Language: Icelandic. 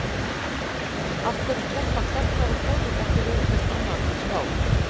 Af hverju keppa karlar og konur ekki við hvert annað í skák?